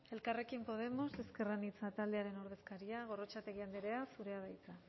elkarrekin podemos ezker anitza taldearen ordezkaria gorrotxategi andrea zurea da hitza